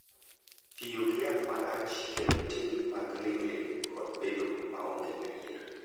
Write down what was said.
Tiyo gi yath marach kelo tim mag ling’ling’ kod bedo maonge adier,